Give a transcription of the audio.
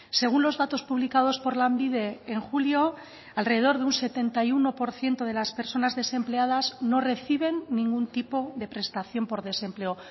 según los datos publicados por lanbide en julio alrededor de un setenta y uno por ciento de las personas desempleadas no reciben ningún tipo de prestación por desempleo